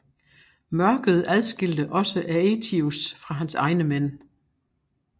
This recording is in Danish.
Mørket adskilte også Aëtius fra hans egne mænd